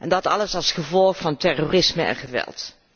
Dat alles als gevolg van terrorisme en geweld.